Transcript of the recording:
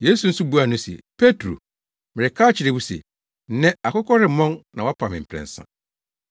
Yesu nso buaa no se, “Petro, mereka akyerɛ wo se, nnɛ akokɔ remmɔn na woapa me mprɛnsa.”